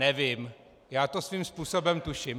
nevím - já to svým způsobem tuším.